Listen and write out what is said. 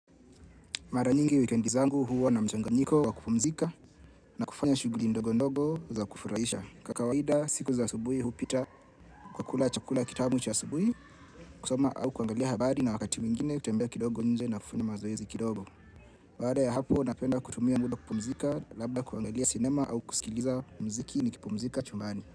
Mara nyingi wikendi zangu huwa na mchanganyiko wa kupumzika na kufanya shughuli ndogo ndogo za kufurahisha. Kwa kawaida siku za asubuhi hupita kwa kula chakula kitamu cha asubuhi kusoma au kuangalia habari na wakati mwingine kutembea kidogo nje na kufanya mazoezi kidogo. Baada ya hapo napenda kutumia muda kupumzika labda kuangalia sinema au kusikiliza mziki nikipumzika chumbani.